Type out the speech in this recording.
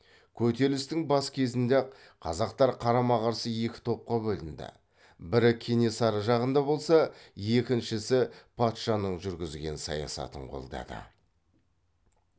көтерілістің бас кезінде ақ қазақтар қарама қарсы екі топқа бөлінді бірі кенесары жағында болса екіншісі патшаның жүргізген саясатын қолдады